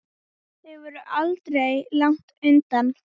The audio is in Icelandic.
Þau voru aldrei langt undan.